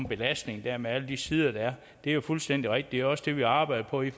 belastning der er med alle de sider der er det er fuldstændig rigtigt også det vi arbejder på i